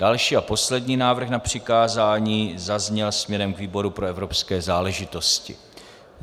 Další a poslední návrh na přikázání zazněl směrem k výboru pro evropské záležitosti.